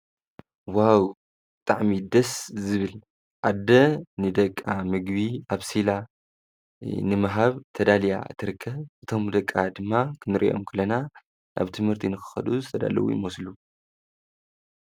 ወሃዊ ጥዕሚ ድስ ዝብል ኣደ ንደቃ ምግቢ ኣብ ሲላ ንመሃብ ተዳልያ ትርከ እቶም ደቃ ድማ ክንርእዮም ክለና ኣብ ትምህርቲ ንክኸዱ ዝተዳልዉ ይሞስሉ